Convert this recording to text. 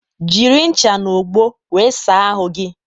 Jiri ṅcha n'ogbo wee saa ahụ gi